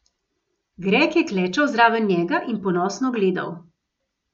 Greg je klečal zraven njega in ponosno gledal.